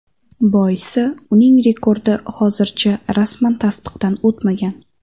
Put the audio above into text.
Boisi uning rekordi hozircha rasman tasdiqdan o‘tmagan.